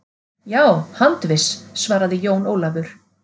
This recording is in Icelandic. Já, handviss, svaraði Jón Ólafur.